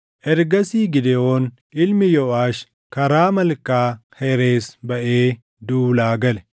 Ergasii Gidewoon ilmi Yooʼaash karaa Malkaa Herees baʼee duulaa gale.